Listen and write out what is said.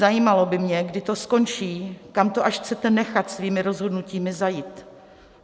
Zajímalo by mě, kdy to skončí, kam to až chcete nechat svými rozhodnutími zajít.